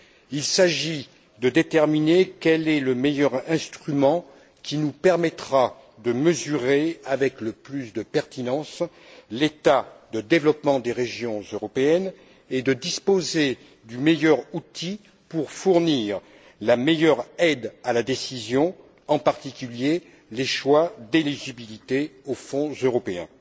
Il s'agit de déterminer quel est le meilleur instrument qui nous permettra de mesurer avec le plus de pertinence l'état de développement des régions européennes et de disposer du meilleur outil pour fournir la meilleure aide à la décision, en particulier sur les choix d'éligibilité aux Fonds européens.